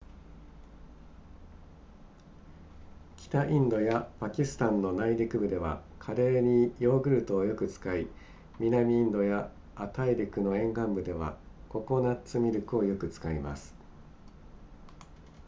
北インドやパキスタンの内陸部ではカレーにヨーグルトをよく使い南インドや亜大陸の沿岸部ではココナッツミルクをよく使います